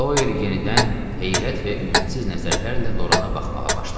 Doel yenidən heyrət və ümidsiz nəzərlərlə Lorana baxmağa başladı.